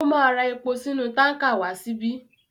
Ó máa ra epo sínú tánkà wá síbí.